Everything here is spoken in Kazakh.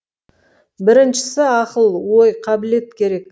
біріншісі ақыл ой қабілет керек